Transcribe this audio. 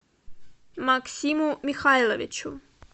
максиму михайловичу